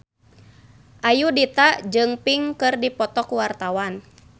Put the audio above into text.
Ayudhita jeung Pink keur dipoto ku wartawan